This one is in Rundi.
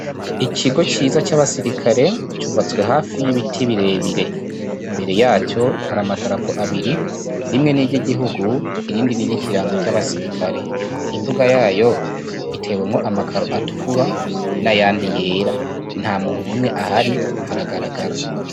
Ikigo ciza c'abasirikare cubatswe hafi y'ibiti birebire imbere yacyo hari amadarapo abiri rimwe n'iryo igihugu irindi ni ryo ikirango c'abasirikale imbuga yayo itewemwo amakaru atukura n'a yandi yera nta muntu n'umwe ahari haragaragara.